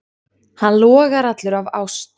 Hann logar allur af ást.